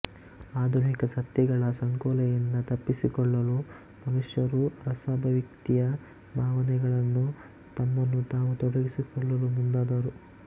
ಆಧುನಿಕ ಸತ್ಯಗಳ ಸಂಕೋಲೆಯಿಂದ ತಪ್ಪಿಸಿಕೊಳ್ಳಲು ಮನುಷ್ಯರು ರಸಾಭಿವ್ಯಕ್ತಿಯ ಭಾವನೆಗಳಲ್ಲಿ ತಮ್ಮನ್ನು ತಾವು ತೊಡಗಿಸಿಕೊಳ್ಳಲು ಮುಂದಾದರು